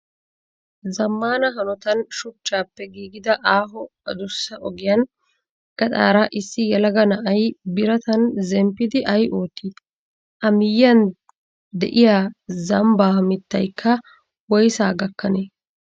Zammaana hanotan shuchchappe giigida aaho adussa ogiyaan gaxaara issi yelaga na''ayi biratan zemppidi ayi oottii? A miyyiyan de'iyaa zambba mittayikka woyssaa gakkanee?